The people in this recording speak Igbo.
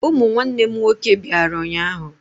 Ụmụ nwanne m nwoke bịara ụnyaahụ.